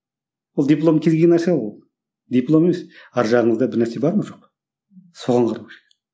ол диплом келген нәрсе ол диплом емес арғы жағыңызда бір нәрсе бар ма жоқ па соған қарау керек